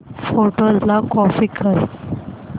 photos ला copy कर